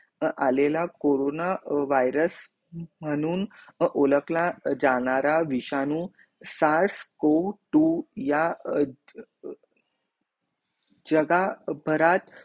आलेल्या corona virus मनहून उलकला जाणारा विषाणू सास कु टवू या जगह भरात